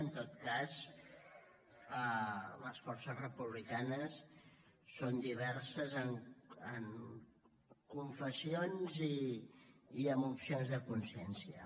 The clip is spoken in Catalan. en tot cas les forces republicanes són diverses en confessions i en opcions de consciència